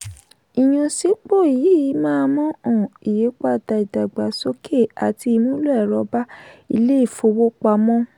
ìyànsípò yìí máa mú um ìyípadà ìdàgbàsókè àti ìmúlò ẹ̀rọ bá ilé ìfowópamọ́.